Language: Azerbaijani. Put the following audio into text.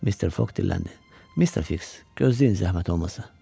Mister Foq dilləndi: Mister Fiks, gözləyin zəhmət olmasa.